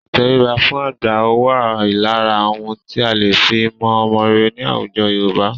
Ìtẹríba fún àgbà wà lára ohun tí a lè fi mọ ọmọ rere ní àwùjọ Yorùbá.